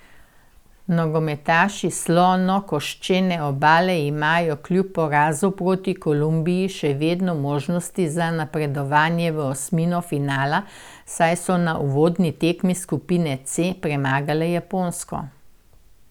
Nogometaši Slonokoščene obale imajo kljub porazu proti Kolumbiji še vedno možnosti za napredovanje v osmino finala, saj so na uvodni tekmi skupine C premagali Japonsko.